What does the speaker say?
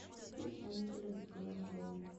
включи исполнителя глэм гоу